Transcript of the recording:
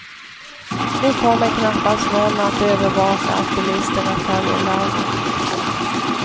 Nu kommer knappast någon att övervaka att bilisterna följer lagen.